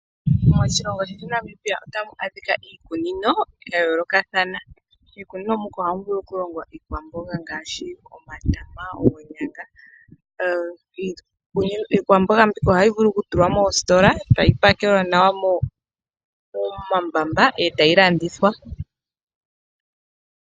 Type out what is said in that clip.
Moshilongo shetu Namibia otamu adhika iikunino ya yoolokathana. Miikunino muka ohamu vulu oku longwa iikwamboga ngaashi omatama, oonyanga. Iikwamboga mbika ohayi vulu oku tulwa moositola etayi pakelwa nawa momambamba etayi landithwa.